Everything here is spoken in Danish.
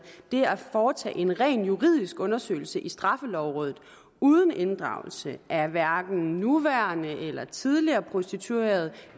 det at foretage en rent juridisk undersøgelse i straffelovrådet uden inddragelse af hverken nuværende eller tidligere prostituerede